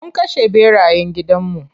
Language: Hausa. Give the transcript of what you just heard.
Mun kashe ɓerayen gidan mu.